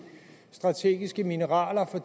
strategiske mineraler